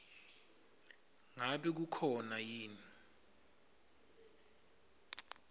ngabe kukhona yini